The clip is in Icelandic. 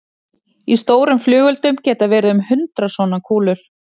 Í stórum flugeldum geta verið um hundrað svona kúlur.